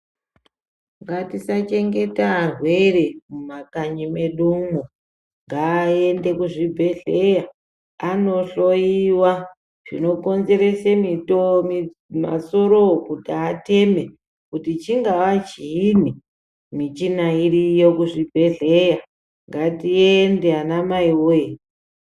Ngatisachengeta arwere mumakanyi medumo ngaende kuzvibhedhleya anohloiwa zvinokonzerese mito masorovo kuti ateme. Kuti chingava chiini michina iriyo kuzvibhedhleya ngatiende anamai voye.